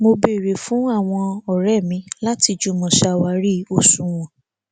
mo béèrè fún àwọn òré mi láti jùmọ ṣàwárí òṣùwọn